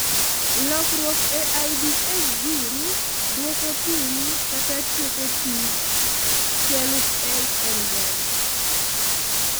lokruok e IDS gene duoko piny kata tieko tij I2S enzyme